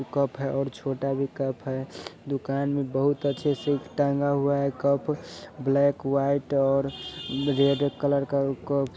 और छोटा भी कप है दुकान में बहुत अच्छे से टांगा हुआ है कप ब्लैक वाईट और रेड कलर का क-कप है और छोटा भी कप है।